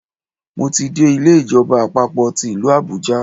Mo ti dé Ilé ìjọba àpapò ti ìlú Àbújá